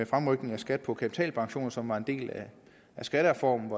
fremrykning af skat på kapitalpension som var en del af skattereformen